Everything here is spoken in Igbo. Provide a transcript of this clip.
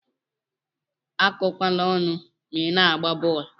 Akọkwana ọnụ ma ina agba bọọlụ.